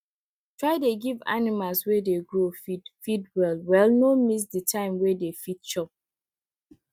try dey give animals wey dey grow feed feed well wellno miss the time wey dey fit chop